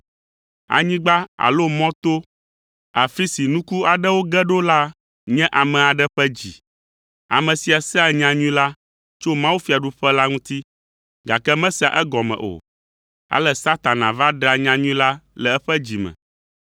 Anyigba alo mɔ to, afi si nuku aɖewo ge ɖo la nye ame aɖe ƒe dzi. Ame sia sea nyanyui la tso mawufiaɖuƒe la ŋuti, gake mesea egɔme o, ale Satana va ɖea nyanyui la le eƒe dzi me.